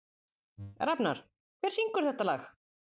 Rafnar, hver syngur þetta lag?